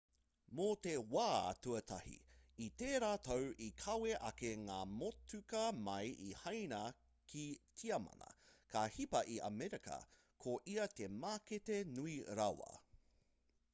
mō te wā tuatahi i tērā tau i kawe ake ngā motuka mai i haina ki tiamana ka hipa i amerika ko ia te mākete nui rawa